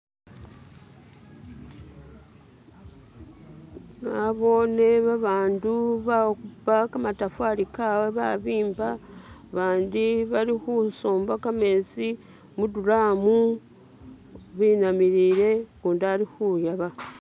nabone babandu bakhupa kamatafali kabwe babimba bandi balikhusomba kametsi muduramu binamilile kundi alikhuyaba